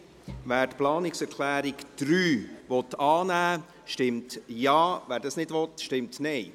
Wer die Planungserklärung 3 annehmen will, stimmt Ja, wer dies nicht will, stimmt Nein.